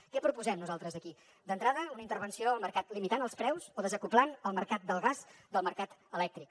què proposem nosaltres aquí d’entrada una intervenció al mercat limitant els preus o desacoblant el mercat del gas del mercat elèctric